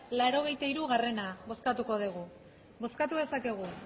laurogeita hirugarrena bozkatuko dugu bozkatu dezakegu